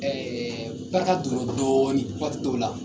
barika donna dɔɔnin waati dɔw la.